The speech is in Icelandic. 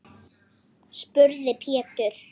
spurði Pétur.